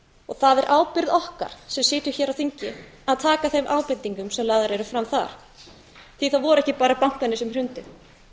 og það er ábyrgð okkar sem sitjum hér á þingi að taka þeim ábendingum sem lagðar eru fram þar það voru ekki bara bankarnir sem hrundu